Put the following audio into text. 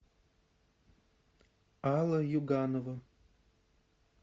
алла юганова